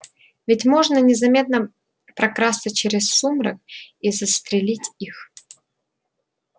ведь можно незаметно прокрасться через сумрак и застрелить их